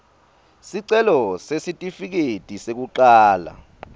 sicelo sesitifiketi sekucala